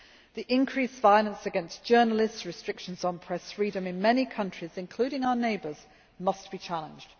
The increased violence against journalists and restrictions on press freedom in many countries, including our neighbours, must be challenged.